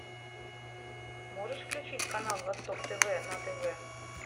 можешь включить канал восток тв на тв